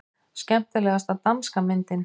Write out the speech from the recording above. Skemmtilegasta danska myndin